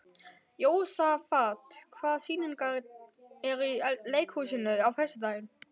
Jósafat, hvaða sýningar eru í leikhúsinu á föstudaginn?